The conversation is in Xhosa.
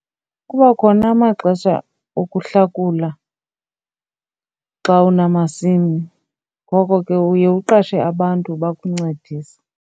Kuba khona amaxesha okuhlakula xa unamasimi. Ngoko ke uye uqashe abantu bakuncedise.